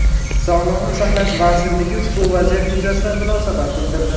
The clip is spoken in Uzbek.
Sog‘liqni saqlash vazirligi ushbu vaziyat yuzasidan munosabat bildirdi .